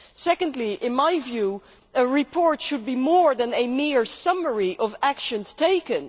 Secondly, in my view, a report should be more than a mere summary of actions taken.